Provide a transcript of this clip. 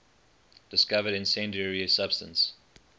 discovered incendiary substance